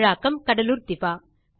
தமிழாக்கம் கடலூர் திவா